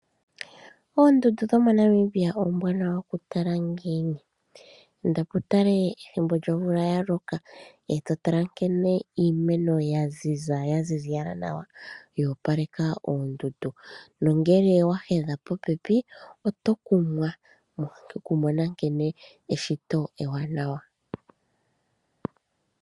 Oondundu dhomoNamibia oombwaanawa oku tala ngiini ? Indapo utale omvula yaloka etotala nkene iimeno yaziza yaziziyala nawa yo opaleka oondundu nongele owe engene popepi oto kumwa nkene eshito lyo opalekeka.